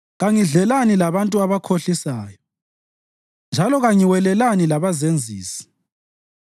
Kangidlelani labantu abakhohlisayo njalo kangiwelelani labazenzisi;